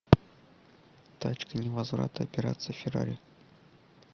точка невозврата операция феррари